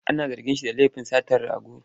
Ana zarginsa da lafin satar rago.